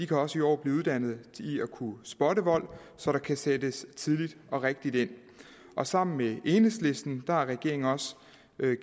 kan også i år blive uddannet i at kunne spotte vold så der kan sættes tidligt og rigtigt ind og sammen med enhedslisten har regeringen